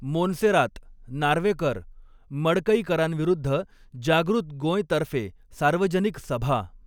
मोन्सेरात, नार्वेकर, मडकईकरांविरुद्ध जागृत गोंयतर्फे सार्वजनिक सभा